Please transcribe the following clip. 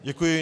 Děkuji.